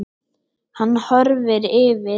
Hann horfir yfir